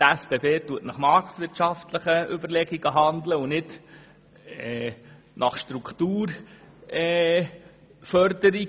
Die SBB handelt nach marktwirtschaftlichen Überlegungen und nicht nach Motiven der Strukturförderung.